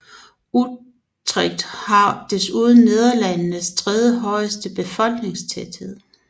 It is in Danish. Utrecht har desuden Nederlandenes tredje højeste befolkningstæthed